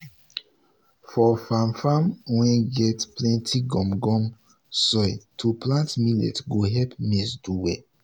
for farm farm wey get plenty gum gum soil to plant millet go help maize do well.